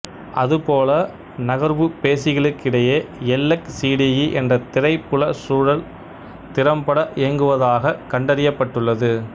அதுபோல நகர்வுப்பேசிகளுக்கிடையே எல்லெக்சிடியி என்ற திரைப்புலச் சூழல் திறம்பட இயங்குவதாகக் கண்டறியப்பட்டுள்ளது